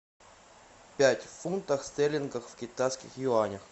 пять фунтов стерлингов в китайских юанях